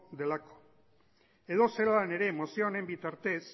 delako edozelan ere mozio honetan bitartez